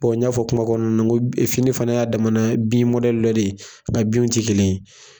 n y'a fɔ kuma kɔnɔna na n ko fini fana y'a damana bin mɔdɛli dɔ de ye nga binw tɛ kelen ye.